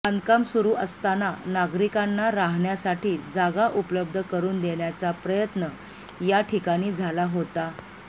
बांधकाम सुरू असताना नागरिकांना राहण्यासाठी जागा उपलब्ध करून देण्याचा प्रयत्न या ठिकाणी झाला होता